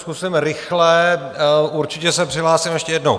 Zkusím rychle, určitě se přihlásím ještě jednou.